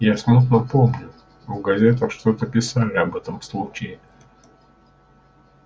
я смутно помню в газетах что-то писали об этом случае